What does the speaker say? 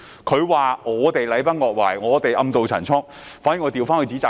他說我們禮崩樂壞、暗渡陳倉，卻倒過來指責他。